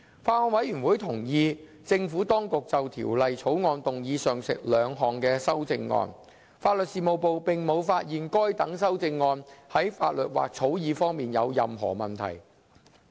法案委員會同意政府當局就《條例草案》動議上述兩項修正案，法律事務部並無發現該等修正案在法律或草擬方面有任何問題。